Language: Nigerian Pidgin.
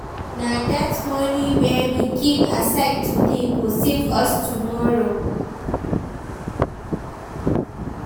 Na that money wey we keep aside today go save us tomorrow.